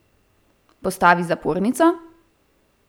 Postavi zapornico?